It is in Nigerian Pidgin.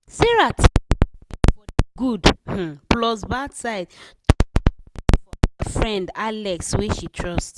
sarah think well well for de good um plus bad side to collect money for her friend alex wey she trust.